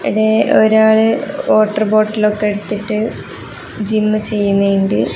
ഇവിടെ ഒരാള് വാട്ടർ ബോട്ടിലൊക്കെ എടുത്തിട്ട് ജിമ്മ് ചെയ്യുന്നുണ്ട്.